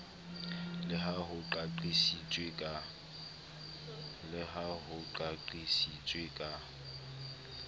le ha ho qaqisitswe ka